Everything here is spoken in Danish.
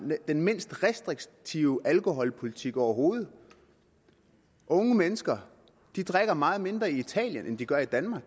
den mindst restriktive alkoholpolitik overhovedet unge mennesker drikker meget mindre i italien end de gør i danmark